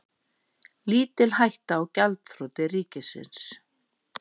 Lítil hætta á gjaldþroti ríkisins